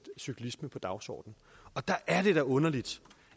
cyklisme på dagsordenen og der er det da underligt